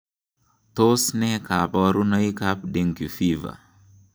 Tos nee koborunoikab Dengue fever?